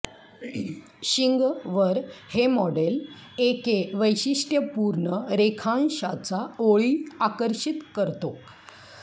शिंग वर हे मॉडेल ए के वैशिष्ट्यपूर्ण रेखांशाचा ओळी आकर्षित करतो